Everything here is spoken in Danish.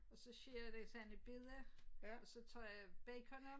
Og så skærer jeg det sådan i bidder og så tager jeg bacon om